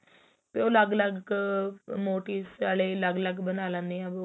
ਵੀ ਉਹ ਅਲੱਗ ਅਲੱਗ motives ਵਾਲੇ ਅਲੱਗ ਅਲੱਗ ਬਣਾ ਲਿੰਨੇ ਹਾਂ